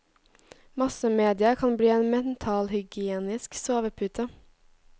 Massemedia kan bli en mentalhygienisk sovepute.